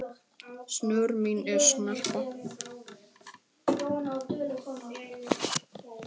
snör mín en snarpa